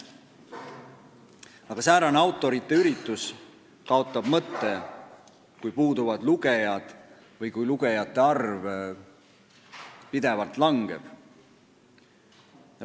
Aga säärane autorite üritus kaotab mõtte, kui puuduvad lugejad või kui lugejate arv pidevalt langeb.